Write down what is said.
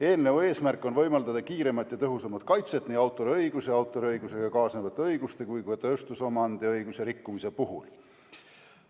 Eelnõu eesmärk on võimaldada kiiremat ja tõhusamat kaitset nii autoriõiguse, autoriõigusega kaasnevate õiguste kui ka tööstusomandiõiguse rikkumise puhul.